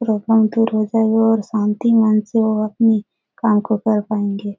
लोग पंक्ति में लगे बहुत शांति मन से वह अपनी काम को कर पाएँगे।